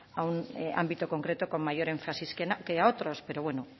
a un ámbito concreto con mayor énfasis que a otros pero bueno